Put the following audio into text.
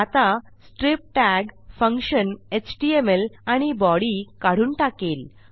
आता strip tag function HTML आणि body काढून टाकेल